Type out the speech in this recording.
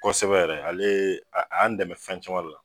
Kosɛbɛ yɛrɛ ale ye, a y' an dɛmɛ fɛn caman de la